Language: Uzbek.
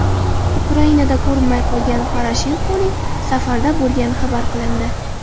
Ukrainada ko‘rinmay qolgan Poroshenkoning safarda bo‘lgani xabar qilindi.